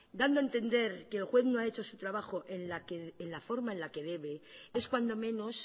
dando entender que el juez no ha hecho su trabajo en la forma en la que debe es cuando menos